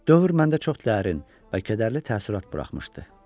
Dövr məndə çox dərin və kədərli təəssürat buraxmışdı.